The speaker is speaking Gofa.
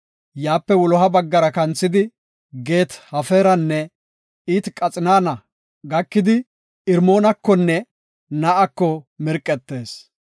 Yaape wuloha baggara kanthidi, Gaat-Hefeeranne It-Qaxinaana gakidi, Irmoonakonne Ne7ako mirqettees.